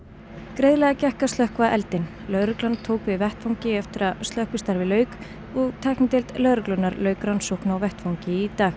greiðlega gekk að slökkva eldinn lögreglan tók við vettvangi eftir að slökkvistarfi lauk tæknideild lögreglunnar lauk rannsókn á vettvangi í dag